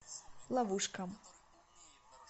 ловушка